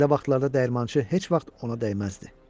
Belə vaxtlarda dəyirmançı heç vaxt ona dəyməzdi.